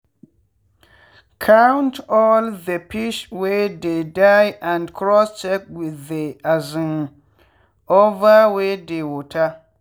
count all the fish wey dey die and cross check with the um one wey dey water.